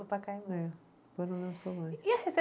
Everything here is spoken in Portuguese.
Pacaembu. É